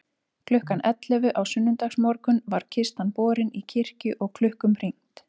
Klukkan ellefu á sunnudagsmorgun var kistan borin í kirkju og klukkum hringt.